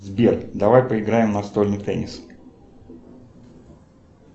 сбер давай поиграем в настольный теннис